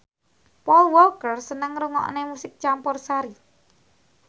Paul Walker seneng ngrungokne musik campursari